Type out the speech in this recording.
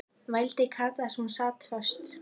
vældi Kata þar sem hún sat föst.